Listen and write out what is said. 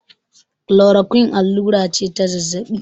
klorakuin allura ce ta zazzabi